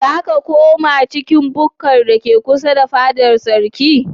Za ka koma cikin bukkar da ke kusa da fadar sarkin?